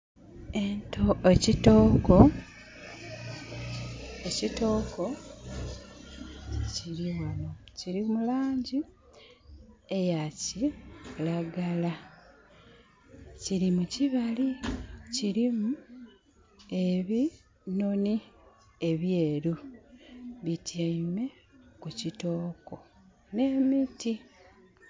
Ekitooko, ekitooko kiri ghano. Kiri mu laangi eya kiragala. Kiri mu kibali. Kirimu ebinhonhi ebyeeru, bityaime ku kitooko n'emiti.